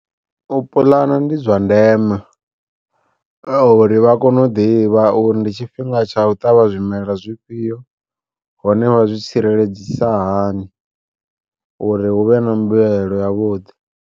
U puḽana ndi zwa ndeme uri vha kone u ḓivha uri ndi tshifhinga tsha u ṱavha zwimela zwifhio, hone vha zwi tsireledzisa hani uri hu vhe na mbuyelo ya vhuḓi.